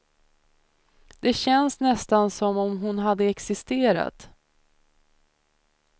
Det känns nästan som om hon hade existerat.